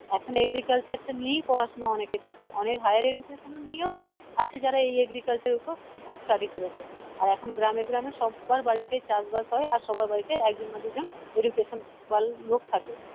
এখন agriculture টা নিয়েই পড়াশোনা অনেকে করছে অনেক higher education নিয়েও আছে যারা এই agriculture ওপর study করেছে আর এখন গ্রামে গ্রামে সবার বাড়িতে চাষ বাস হয় আর সবার বাড়িতে একজন না দুজন education লোক থাকে